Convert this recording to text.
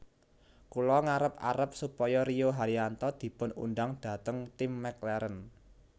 Kula ngarep arep supaya Rio Haryanto dipun undang dhateng tim McLaren